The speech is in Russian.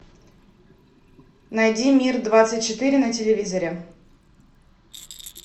найди мир двадцать четыре на телевизоре